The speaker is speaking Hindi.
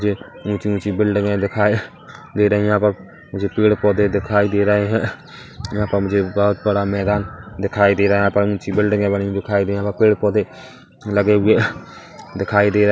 जे ऊंची-ऊंची बिल्डिंगे दिखाई दे रही है अप अप मुझे पेड़-पौधे दिखाई दे रहे है यहाँ पर मुझे बहोत बड़ा मैदान दिखाई दे रहा है यहाँ पर ऊंची बिल्डिंगे बनी हुई दिखाई दे है यहाँ पर पेड़-पौधे लगे हुए दिखाई दे रहे --